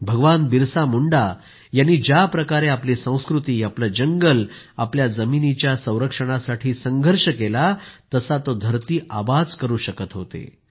भगवान बिरसा मुंडा यांनी ज्या प्रकारे आपली संस्कृती आपलं जंगल आपल्या जमिनीच्या संरक्षणासाठी संघर्ष केला तसा तो धरती आबाच करू शकत होते